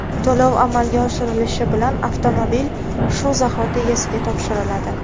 To‘lov amalga oshirilishi bilan avtomobil shu zahoti egasiga topshiriladi.